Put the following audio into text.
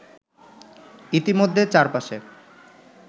ইতিমধ্যে চার পাশে